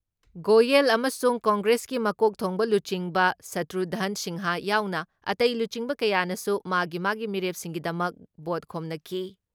ꯒꯣꯌꯦꯜ ꯑꯃꯁꯨꯡ ꯀꯪꯒ꯭ꯔꯦꯁꯀꯤ ꯃꯀꯣꯛ ꯊꯣꯡꯕ ꯂꯨꯆꯤꯡꯕ ꯁꯇ꯭ꯔꯨꯘꯟ ꯁꯤꯟꯍꯥ ꯌꯥꯎꯅ ꯑꯇꯩ ꯂꯨꯆꯤꯡꯕ ꯀꯌꯥꯅꯁꯨ ꯃꯥꯒꯤ ꯃꯥꯒꯤ ꯃꯤꯔꯦꯞꯁꯤꯡꯒꯤꯗꯃꯛ ꯚꯣꯠ ꯈꯣꯝꯅꯈꯤ ꯫